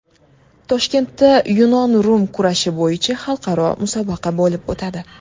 Toshkentda yunon-rum kurashi bo‘yicha xalqaro musobaqa bo‘lib o‘tadi.